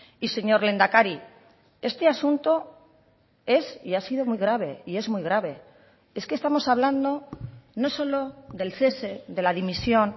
y señor lehendakari este asunto es y ha sido muy grave y es muy grave es que estamos hablando no solo del cese de la dimisión